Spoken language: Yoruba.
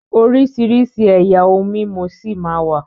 oríṣirisi ẹyà òun imú sí má wá